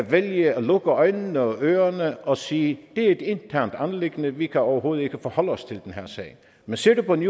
vælge at lukke øjnene og ørerne og sige det er et internt anliggende vi kan overhovedet ikke forholde os til den her sag men ser vi på ny